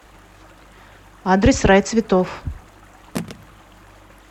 адрес рай цветов